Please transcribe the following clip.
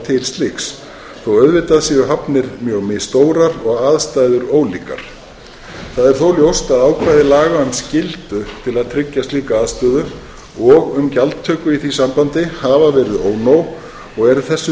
til slíks þótt auðvitað séu hafnir mjög misstórar og aðstæður ólíkar það er þó ljóst að ákvæði laga um skyldu til að tryggja slíka aðstöðu og um gjaldtöku í því sambandi hafa verið ónóg og er þessu